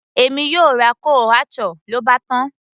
èmi yóò ra chole bhature, lóbátán